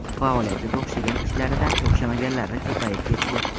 Faoliyatida o‘xshagan ishlaridan o‘xshamaganlari ko‘payib ketdi.